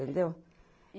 Entendeu?